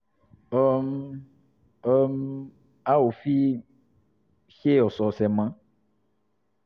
um um a ò fi í ṣe ọ̀sọ̀ọ̀sẹ̀ mọ́